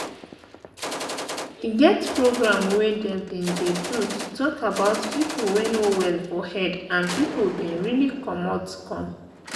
e get program wey them bin dey do to talk about people wey no well for head and people bin really commot come.